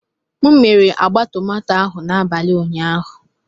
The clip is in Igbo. M mere agba tomato ahụ n'abalị ụnyaahụ.